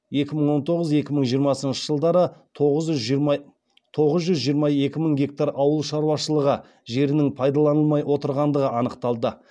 екі мын тоғыз екі мың жиырмасыншы жылдары тоғыз жүз жиырма екі мың гектар ауыл шаруашылығы жерінің пайдаланылмай отырғандығы анықталды